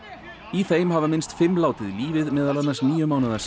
í þeim hafa minnst fimm látið lífið meðal annars níu mánaða